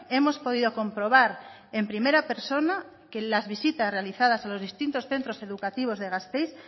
hemos podido comprobar en primera persona en las visitas realizadas a los distintos centros educativos de gasteiz